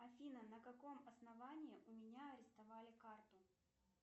афина на каком основании у меня арестовали карту